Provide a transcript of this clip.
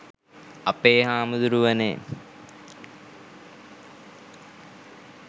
අපේ හාමදුරුවනේ.